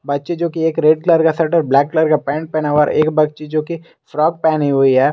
बच्चे जो की एक रेड कलर का शर्ट ब्लैक कलर का पेंट पहना हुआ एक बच्ची जो की फ्रॉक पहनी हुई है।